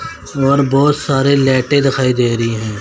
और बहोत सारे लैटें दिखाई दे रही है।